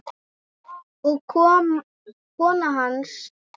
og kona hans.